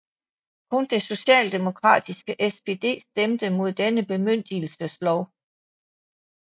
Kun det socialdemokratiske SPD stemte mod denne bemyndigelseslov